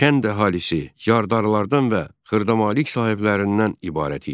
Kənd əhalisi yardarlılardan və xırda malik sahiblərindən ibarəti idi.